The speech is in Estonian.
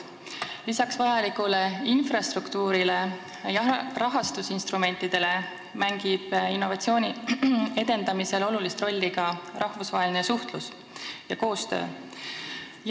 Lisaks vajalikule infrastruktuurile ja rahastusinstrumentidele mängib innovatsiooni edendamisel olulist rolli rahvusvaheline suhtlus ja koostöö.